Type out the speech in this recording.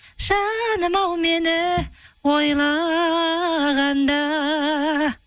жаным ау мені ойлағанда